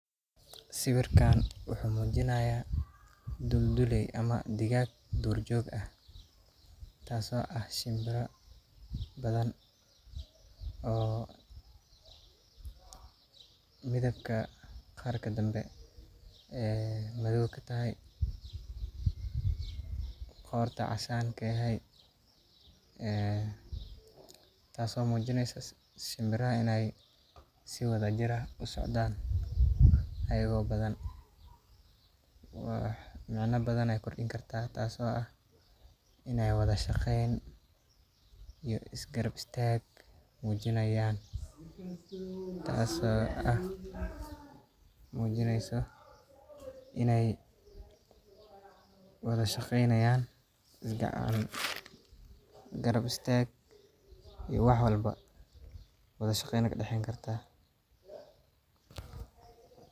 Siwirkan wuxuu mujinaya dul dule ama digag dur jog ah tas oo ah shinbira badan oo midabka qarka danbe madiq katahay qorta casan katahay tado mujineysa shinbiraha in ee wadha jir usocdan, tas oo mujineysa is garab istag iyo wadha shaqeynayan isgarab istag iyo wax walbo wadha shaqen aya kadaxeyni kartaa.